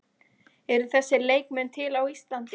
Eru þessir leikmenn til á Íslandi?